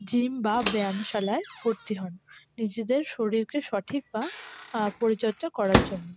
Gym বা ব্যায়ামশালায় ভরতি হন নিজেদের শরীরকে সঠিক বা আহ পরিচর্চা করার জন্য।